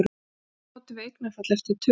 Hvenær notum við eignarfall eftir tölum?